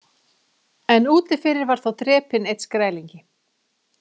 En úti fyrir var þá drepinn einn Skrælingi.